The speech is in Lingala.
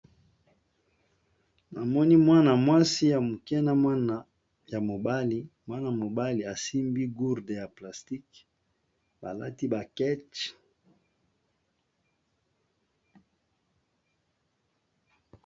Namoni mwana mwasi ya moke na mwana ya mobali mwana mobali asimbi gurde ya plastique balati ba keche.